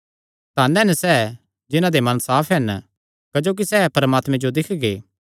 धन हन सैह़ जिन्हां दे मन साफ हन क्जोकि सैह़ परमात्मे जो दिक्खगे